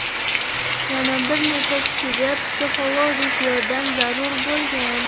Yana bir necha kishiga psixologik yordam zarur bo‘lgan.